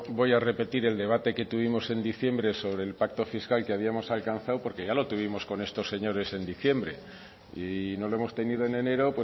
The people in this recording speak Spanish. voy a repetir el debate que tuvimos en diciembre sobre el pacto fiscal que habíamos alcanzado porque ya lo tuvimos con estos señores en diciembre y no lo hemos tenido en enero